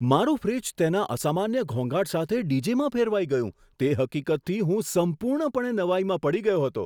મારું ફ્રિજ તેના અસામાન્ય ઘોંઘાટ સાથે ડીજેમાં ફેરવાઈ ગયું, તે હકીકતથી હું સંપૂર્ણપણે નવાઈમાં પડી ગયો હતો!